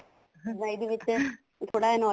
ਦਾ ਇਹਦੇ ਵਿੱਚ ਤੇ ਥੋੜਾ